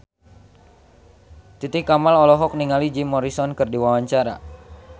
Titi Kamal olohok ningali Jim Morrison keur diwawancara